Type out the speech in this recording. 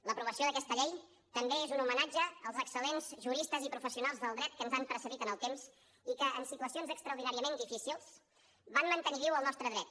l’aprovació d’aquesta llei també és un homenatge als excel·lents juristes i professionals del dret que ens han precedit en el temps i que en situacions extraordinàriament difícils van mantenir viu el nostre dret